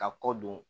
Ka kɔ don